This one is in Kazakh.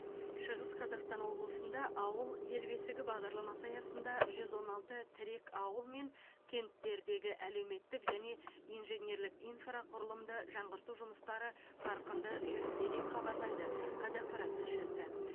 шығыс қазақстан облысында ауыл ел бесігі бағдарламасы аясында жүз он алты тірек ауыл мен кенттердегі әлеуметтік және инженерлік инфрақұрылымды жаңғырту жұмыстары қарқынды жүруде деп хабарлайды қазақпарат тілшісі